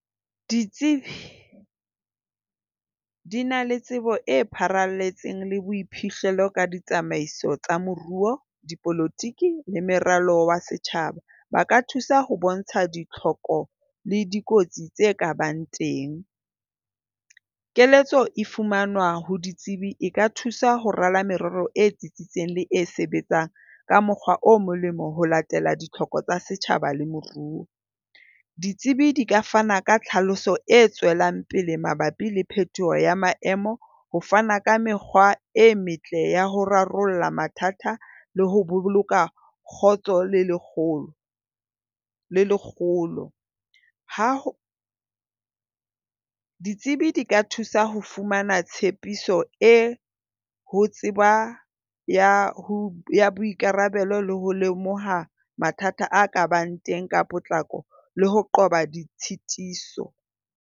Ditsebi di na le tsebo e pharalletseng le boiphihlelo ka ditsamaiso tsa moruo, dipolotiki le meralo wa setjhaba. Ba ka thusa ho bontsha ditlhoko le dikotsi tse ka bang teng. Keletso e fumanwa ho ditsebi e ka thusa ho rala merero e tsitsitseng le e sebetsang ka mokgwa o molemo ho latela ditlhoko tsa setjhaba le moruo. Ditsebi di ka fana ka tlhaloso e tswelang pele mabapi le phetoho ya maemo, ho fana ka mekgwa e metle ya ho rarolla mathata le ho boloka kgotso le lekgolo le lekgolo. Ha ho, ditsebi di ka thusa ho fumana tshepiso e ho tseba ya ho boikarabelo le ho lemoha mathata a ka bang teng ka potlako le ho qoba ditshitiso.